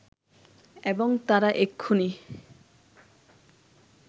এবং তারা এক্ষুণি